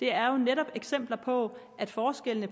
er jo netop eksempler på at forskellene